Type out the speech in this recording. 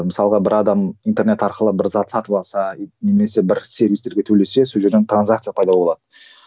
мысалға бір адам интернет арқылы бір зат сатып алса немесе бір сервистерге төлесе сол жерден транзакция пайда болады